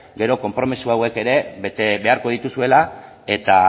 gero konpromiso hauek ere bete beharko dituzuela eta